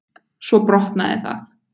Svo brotnaði það.